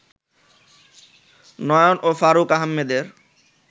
নয়ন ও ফারুক আহমেদের